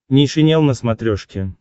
нейшенел на смотрешке